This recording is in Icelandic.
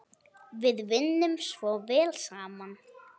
Við vinnum svo vel saman.